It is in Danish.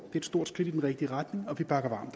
et stort skridt i den rigtige retning og vi bakker